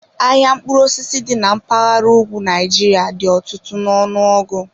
Ahịa mkpụrụ osisi dị na mpaghara ugwu Nigeria dị ọtụtụ n'ọnụọgụ.